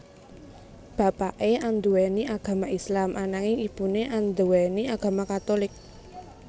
Bapaké anduwèni agama Islam ananging ibuné anduwèni agama Katulik